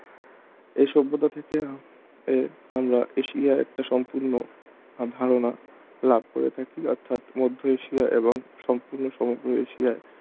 এ সভ্যতা থেকে এর এশিয়ার একটা সম্পূর্ণ ধারণা লাভ করে থাকি অর্থাৎ মধ্য এশিয়া এবং সম্পূর্ণ সমগ্র এশিয়া